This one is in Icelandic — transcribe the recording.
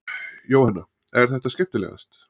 Jóhanna: Er það skemmtilegast?